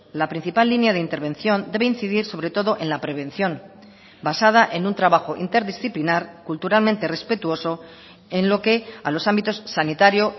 la principal línea de intervención debe incidir sobre todo en la prevención basada en un trabajo interdisciplinar culturalmente respetuoso en lo que a los ámbitos sanitario